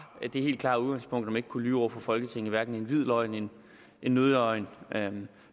det helt klare udgangspunkt at man ikke kunne lyve over for folketinget hverken med en hvid løgn eller en nødløgn men